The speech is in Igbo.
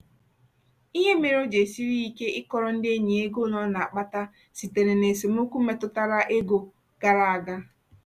ihe mere o ji esiri ya ike ịkọrọ ndị enyi ya ego ole ọ na-akpata sitere na esemokwu metụtara ego gara aga.